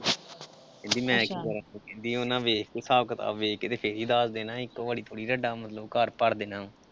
ਵੀ ਮੈਂ ਕੀ ਕਰਾਂ। ਵੀ ਉਨ੍ਹਾਂ ਦੇਖ ਕੇ ਹਿਸਾਬ ਕਿਤਾਬ ਵੇਖ ਕੇ ਤੇ ਫਿਰ ਈ ਦਾਜ ਦੇਣਾ ਇੱਕ ਵਾਰ ਥੋੜੀ ਨਾ ਤੁਹਾਡਾ ਮਤਲਬ ਘਰ ਭਰ ਦੇਣਾ ਵਾਂ।